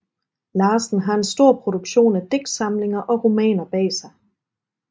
Larsen har en stor produktion af digtsamlinger og romaner bag sig